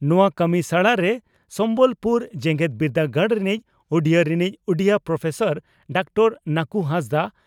ᱱᱚᱣᱟ ᱠᱟᱹᱢᱤᱥᱟᱲᱟᱨᱮ ᱥᱚᱢᱵᱚᱞᱯᱩᱨ ᱡᱮᱜᱮᱛ ᱵᱤᱨᱫᱟᱹᱜᱟᱲ ᱨᱤᱱᱤᱡ ᱩᱰᱤᱭᱟᱹ ᱨᱤᱱᱤᱡ ᱩᱰᱤᱭᱟᱹ ᱯᱨᱚᱯᱷᱮᱥᱟᱨ ᱰᱟᱠᱛᱟᱨ ᱱᱟᱠᱩ ᱦᱟᱸᱥᱫᱟᱜ